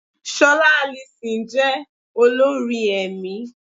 Ṣọlá Alison jẹ́ olórin ẹ̀mí.